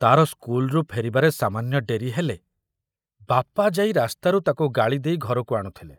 ତାର ସ୍କୁଲରୁ ଫେରିବାରେ ସାମାନ୍ୟ ଡେରି ହେଲେ ବାପା ଯାଇ ରାସ୍ତାରୁ ତାକୁ ଗାଳି ଦେଇ ଘରକୁ ଆଣୁଥିଲେ।